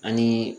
Ani